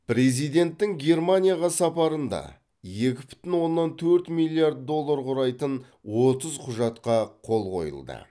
президенттің германияға сапарында екі бүтін оннан төрт миллиард доллар құрайтын отыз құжатқа қол қойылды